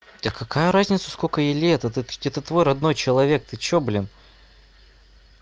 да какая разница сколько ей лет это твой родной человек ты что блин